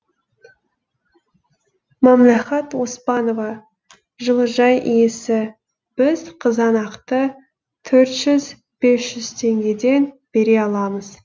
мәмләхат оспанова жылыжай иесі біз қызанақты төрт жүз бес жүз теңгеден бере аламыз